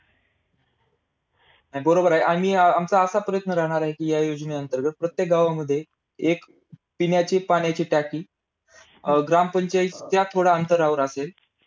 नाही बरोबर आहे. आणि अं आमचा असा प्रश्न राहणार आहे कि, या योजने अंतर्गत प्रत्येक गावामध्ये एक पिण्याची पाण्याची टाकी अं ग्रामपंचायतच्या थोड्या अंतरावर असेल.